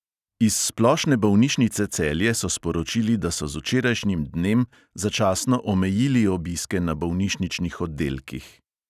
Iz splošne bolnišnice celje so sporočili, da so z včerajšnjim dnem začasno omejili obiske na bolnišničnih oddelkih.